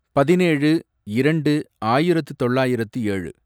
பதினேழு இரண்டு ஆயிரத்து தொள்ளாயிரத்து ஏழு